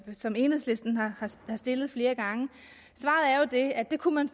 som enhedslisten har stillet flere gange er at det kunne man